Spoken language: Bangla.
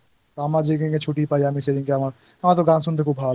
আমার যেদিন ছুটি পাই আমি সেদিনকে আমার আমার